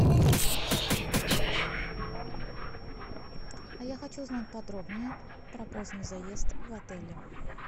а я хочу узнать подробнее про поздний заезд в отеле